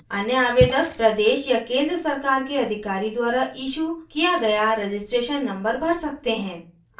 अन्य आवेदक प्रदेश या केंद्र सरकार के अधिकारी द्वारा इशू किया गया registration number भर सकते हैं